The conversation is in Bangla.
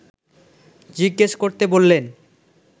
জিজ্ঞেস করতে বললেন